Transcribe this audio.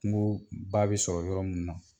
Kungooba bɛ sɔrɔ yɔrɔ mun na